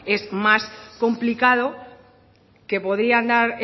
es más complicado que podrían dar